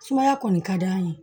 Sumaya kɔni ka d'an ye